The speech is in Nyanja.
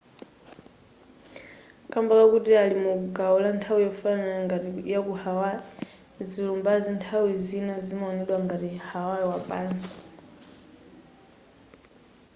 kamba kakuti ali mu gawo lanthawi yofanana ngati yaku hawaii zilumbazi nthawi zina zimaonedwa ngati hawaii wapansi